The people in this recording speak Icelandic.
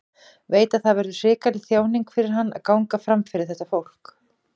Veit að það verður hrikaleg þjáning fyrir hann að ganga fram fyrir þetta fólk.